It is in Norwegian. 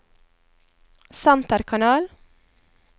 senterkanal